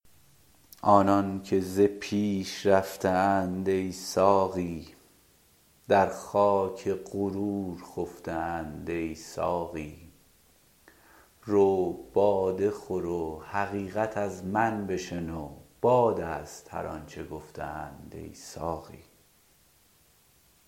آنان که ز پیش رفته اند ای ساقی در خاک غرور خفته اند ای ساقی رو باده خور و حقیقت از من بشنو باد است هر آنچه گفته اند ای ساقی